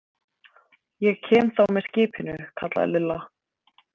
Ég kem þá með skipinu, kallaði Lilla.